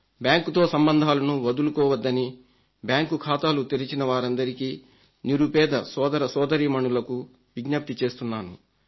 బ్యాంకుతో సంబంధాలను వదులుకోవద్దని బ్యాంకు ఖాతాలు తెరిచిన వారందరికీ నిరుపేద సోదరసోదరీమణులకు విజ్ఞప్తి చేస్తున్నాను